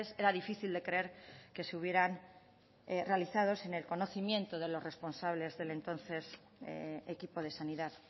era difícil de creer que se hubieran realizado sin el conocimiento de los responsables del entonces equipo de sanidad